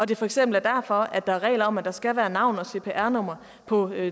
det for eksempel er derfor at der er regler om at der skal være navn og cpr nummer på